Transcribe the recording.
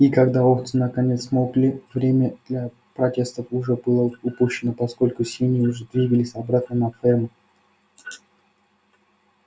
и когда овцы наконец смолкли время для протестов уже было упущено поскольку свиньи уже двигались обратно на ферму